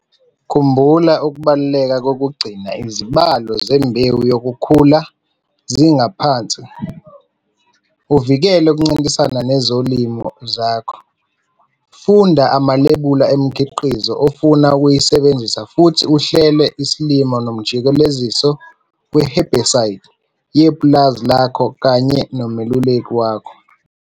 Khumbula ukubaluleka kokugcina izibalo zembewu yokhula ziphansi uvikele ukuncintisana nezilimo zakho. Funda amalebula emikhiqizo ofuna ukuyisebenzisa futhi uhlele isilimo nomjikeleziso we-herbicide yepulazi lakho kanye nomeluleki wakho.